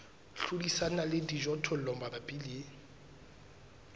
hlodisana le dijothollo mabapi le